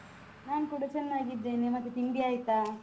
ನಾನ್ ಕೂಡ ಚೆನ್ನಾಗಿದ್ದೇನೆ, ಮತ್ತೆ ತಿಂಡಿ ಆಯ್ತಾ?